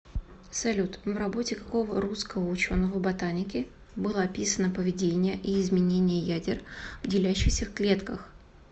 салют в работе какого русского ученого ботаники было описано поведение и изменение ядер в делящихся клетках